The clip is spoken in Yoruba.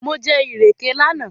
Mo jẹ ìrèké lánàá